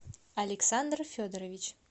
александр федорович